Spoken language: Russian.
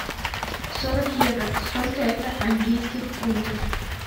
сорок евро сколько это английских фунтов